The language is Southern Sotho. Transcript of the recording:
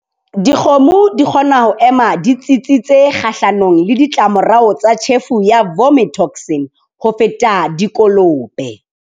Dikgomo di kgona ho ema di tsitsitse kgahlanong le ditlamorao tsa tjhefo ya vomitoxin ho feta dikolobe.